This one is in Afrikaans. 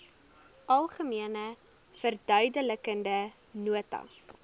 algemene verduidelikende nota